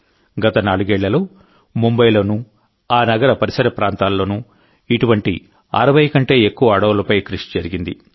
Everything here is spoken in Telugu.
గత నాలుగేళ్లలో ముంబైలోనూ ఆ నగర పరిసర ప్రాంతాలలోనూ ఇటువంటి 60 కంటే ఎక్కువ అడవులపై కృషి జరిగింది